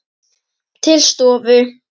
Til stofu.